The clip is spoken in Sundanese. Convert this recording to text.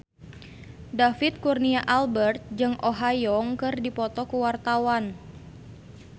David Kurnia Albert jeung Oh Ha Young keur dipoto ku wartawan